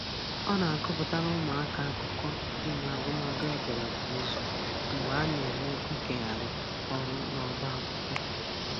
Ọ na-agụpụtara ụmụaka akụkọ dị n'agụmagụ ederede kwa izu mgbe a na-eme nkegharị ọrụ n'ọba akwụkwọ